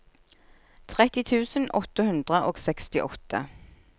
tretti tusen åtte hundre og sekstiåtte